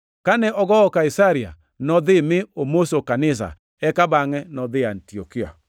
Kane ogowo Kaisaria, nodhi mi omoso kanisa, eka bangʼe nodhi Antiokia.